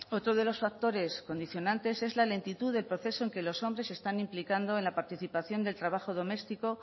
otro de los factores condicionantes es la lentitud de proceso en que los hombres se están implicando en la participación del trabajo doméstico